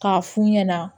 K'a fu ɲɛna